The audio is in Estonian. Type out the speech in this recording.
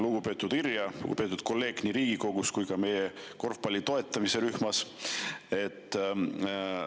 Lugupeetud Irja, kolleeg Riigikogus, korvpalli toetusrühmas!